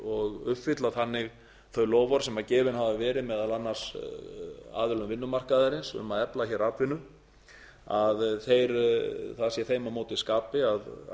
og uppfylla þannig þau loforð sem gefin hafa verið meðal annars aðilum vinnumarkaðarins um að efla atvinnu það sé þeim á móti skapi að